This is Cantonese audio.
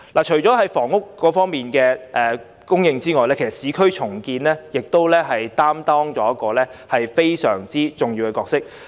除了增加房屋供應，市區重建亦擔當着相當重要的角色。